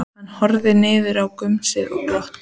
Hann horfði niður í gumsið og glotti.